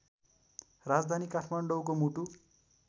राजधानी काठमाडौँको मुटु